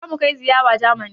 Yaushe za mu kai ziyara Jamani?